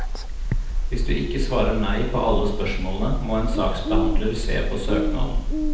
Hvis du ikke svarer nei på alle spørsmålene, må en saksbehandler se på søknaden.